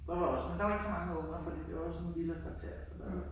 Der var også men der var ikke så mange unger fordi det var også et villakvarter så der var